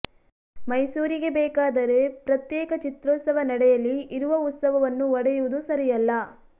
ಮೈಸೂರಿಗೇ ಬೇಕಾದರೆ ಪ್ರತ್ಯೇಕ ಚಿತ್ರೋತ್ಸವ ನಡೆಯಲಿ ಇರುವ ಉತ್ಸವವನ್ನು ಒಡೆಯುವುದು ಸರಿಯಲ್ಲ